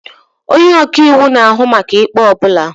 Onye ọka iwu na-ahụ maka ikpe ọ bụla.